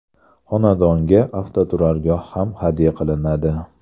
Xonadonga avtoturargoh ham hadya qilinadi.